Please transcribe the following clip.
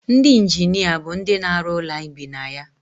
ndị injinia bụ ndị na-arụ ụlọ anyị bi na ya